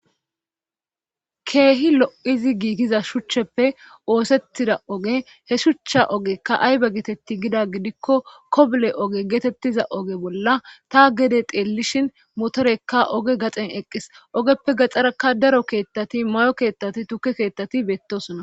Keehi lo'izi giigiza shuchcheppe oosettida oge he shuchcha ogekka aybe geetetti gida gidikko kobole oge geetettiza oge bolla ta gede xeellishin motorekka oge gaxen eqqis ogeppe gaxxaraka daro keethtati mayo keettati tuke keettati beettosona.